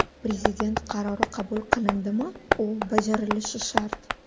Prezident qarori qabul qilindimi, u bajarilishi shart.